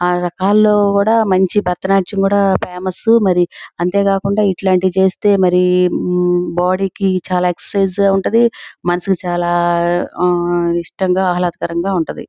ఆ రకాల్లో కూడా మంచి భరతనాట్యం కూడా ఫేమస్ మరి అంతే కాకుండా ఇట్లాంటివి చేస్తే మరి బాడీ కి చాలా ఎక్సరసైజ్ ఉంటది. మనసుకి చాలా ఆ ఇష్టంగా ఆహ్లాదకరంగా ఉంటది.